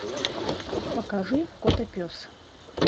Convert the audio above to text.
покажи котопес